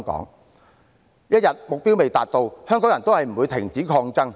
目標一日未達，香港人也不會停止抗爭。